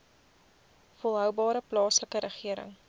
volhoubare plaaslike regering